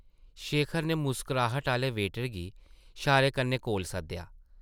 शेखर नै मुस्कराह्ट आह्ले वेटर गी शारे कन्नै कोल सद्देआ ।